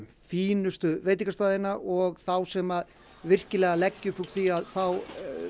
fínustu veitingastaðina og þá sem virkilega leggja upp úr því að fá